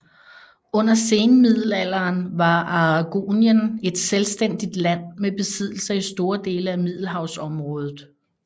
Under senmiddelalderen var Aragonien et selvstændigt land med besiddelser i store dele af Middelhavsområdet